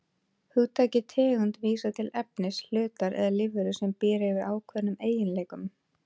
Hugtakið tegund vísar til efnis, hlutar eða lífveru sem býr yfir ákveðnum eiginleikum.